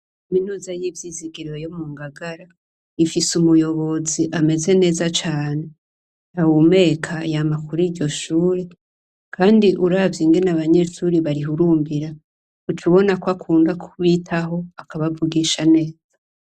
Aminuza y'ivyizigiro yo mu ngagara ifise umuyobozi ameze neza cane awumeka yamakuru iryo shure, kandi uravye ingene abanyeturi barihurumbira ucubona ko akunda kubitaho akabavugisha neza.